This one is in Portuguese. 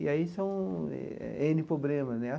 E aí são ene problemas, né?